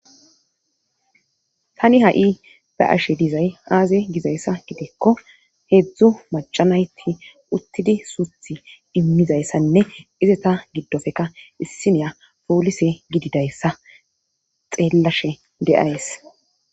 tani ha7i ba'ashe dizay aaze gizayssa gidikko heedzdzu macanayti uttidi suuthi immizayssanne izeta giddofeka issineya poolise gididayssa xeellashe de'ays